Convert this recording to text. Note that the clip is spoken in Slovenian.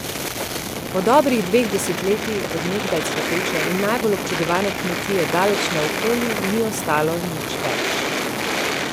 Po dobrih dveh desetletjih od nekdaj cvetoče in najbolj občudovane kmetije daleč naokoli ni ostalo nič več.